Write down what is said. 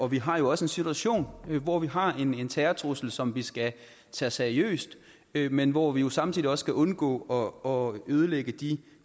vi har jo også en situation hvor vi har en en terrortrussel som vi skal tage seriøst men hvor vi samtidig også skal undgå ødelægge de